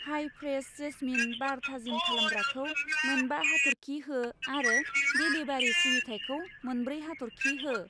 हाय fresh jasmine बार थाजिम खालामग्राखौ मोनबा हाथरखि हो आरो डेलिबारि सिबिथायखौ मोनब्रै हाथरखि हो।